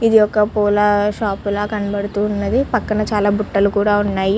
ఇది ఒక పూల షాపు లా కనపడుతూ ఉన్నది పక్కన చాలా బుట్టలు కూడా ఉన్నాయి.